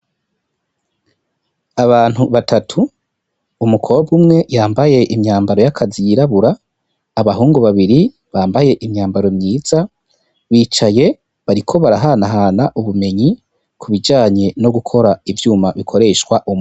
Abantu batatu umukobwa umwe yambaye imyambaro yakazi yirabura, Abahungu babiri bambaye imyambaro mwiza bicaye bariko barahanahana ubumenyi ku bijanye no gukora ivyuma bikoresha.